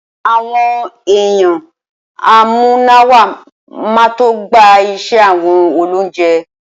Awõn èyanamúnáwá má to gbá ìse awõn òlóunjé